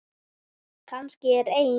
Kannski er ein